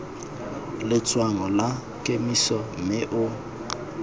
letshwaong la kemiso mme o